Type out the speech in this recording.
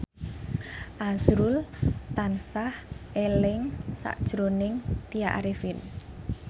azrul tansah eling sakjroning Tya Arifin